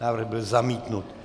Návrh byl zamítnut.